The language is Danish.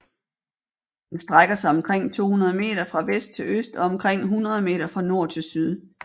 Den strækker sig omkring 200 meter fra vest til øst og omkring 100 meter fra nord til syd